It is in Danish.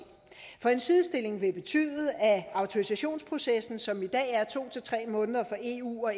for en sidestilling vil betyde at autorisationsprocessen som i dag er to til tre måneder for eu og